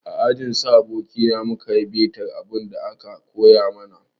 A ajin su abokina mu ka yi bitar abin da aka koya mana.